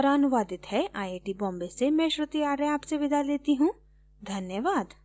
यह स्क्रिप्ट बिंदु पांडे द्वारा अनुवादित है आईआईटी बॉम्बे की ओर से मैं श्रुति आर्य अब आपसे विदा लेती हूँ धन्यवाद